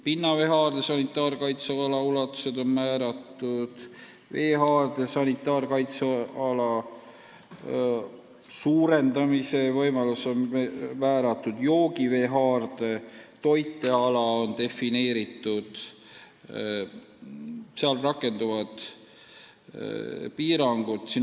Pinnaveehaarde sanitaarkaitseala ulatused on määratud, veehaarde sanitaarkaitseala suurendamise võimalus on määratud, joogiveehaarde toiteala on defineeritud, seal rakenduvad piirangud.